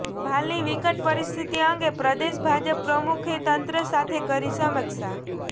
ભાલની વિકટ પરિસ્થિતિ અંગે પ્રદેશ ભાજપ પ્રમુખે તંત્ર સાથે કરી સમિક્ષા